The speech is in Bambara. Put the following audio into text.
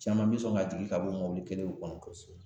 Caman bi sɔn ka jigin ka bɔ o kelen kɔnɔ, kosɛbɛ.